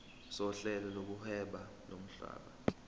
sohlelo lokuhweba lomhlaba